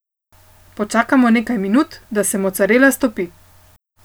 Počakamo nekaj minut, da se mocarela stopi.